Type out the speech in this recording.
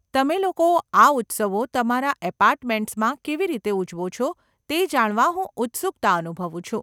તમે લોકો આ ઉત્સવો તમારા એપાર્ટમેન્ટસમાં કેવી રીતે ઉજવો છો તે જાણવા હું ઉત્સુકતા અનુભવું છું.